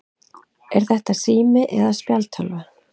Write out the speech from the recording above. Er þetta sími eða spjaldtölva?